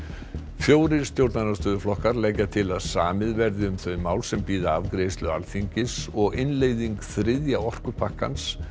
fjórir stjórnarandstöðuflokkar leggja til að samið verði um þau mál sem bíða afgreiðslu Alþingis og innleiðing þriðja orkupakkans